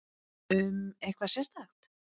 Um eitthvað sérstakt?